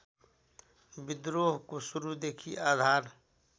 विद्रोहको सुरूदेखि आधार